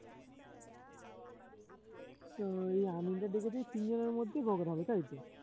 তো ওই আমিনদের ডেকেছে তিনজনের মধ্যে বখরা হবে তাইতো